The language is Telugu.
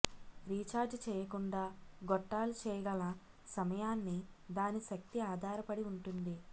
రీఛార్జ్ చేయకుండా గొట్టాలు చేయగల సమయాన్ని దాని శక్తి ఆధారపడి ఉంటుంది